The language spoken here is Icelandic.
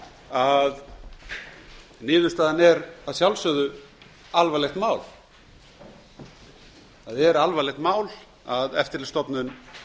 að niðurstaðan er að sjálfsögðu alvarlegt mál það er alvarlegt mál að eftirlitsstofnun